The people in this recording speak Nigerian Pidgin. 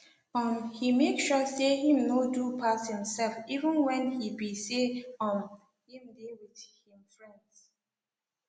um he make sure say him no do pass himself even when he be say um him dey with him friends